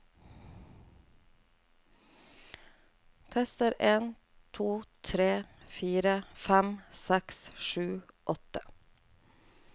Tester en to tre fire fem seks sju åtte